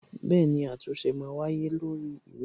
Bẹẹni, àtúnṣe ma wáyé lórí ìwé náà